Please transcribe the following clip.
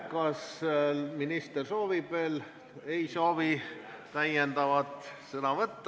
Kas minister soovib veel midagi öelda?